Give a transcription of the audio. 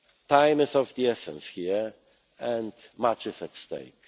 Time is of the essence here, and much is at stake.